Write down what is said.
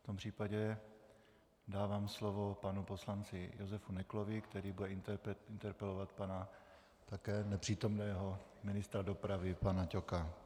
V tom případě dávám slovo panu poslanci Josef Neklovi, který bude interpelovat pana také nepřítomného ministra dopravy pana Ťoka.